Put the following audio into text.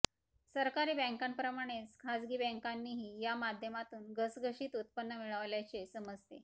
सरकारी बँकांप्रमाणेच खासगी बँकानीही या माध्यमातून घसघशीत उत्पन्न मिळवल्याचे समजते